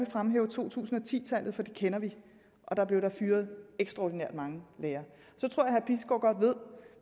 fremhæve to tusind og ti tallet for det kender vi og der blev der fyret ekstraordinært mange lærere så tror jeg